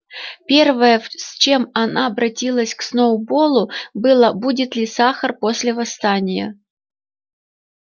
первое с чем она обратилась к сноуболлу было будет ли сахар после восстания